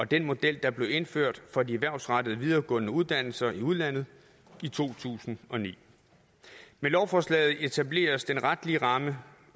den model der blev indført for de erhvervsrettede videregående uddannelser i udlandet i to tusind og ni med lovforslaget etableres den retlige ramme